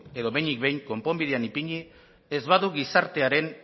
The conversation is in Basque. edo behinik behin konponbidean ipini ez badu gizartearen